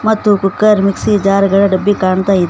ಮತ್ತು cooker mixie jar ಗಳ ಡಬ್ಬಿ ಕಾಣ್ತಾ ಇದೆ.